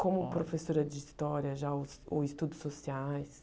Como professora de história, já os os estudos sociais?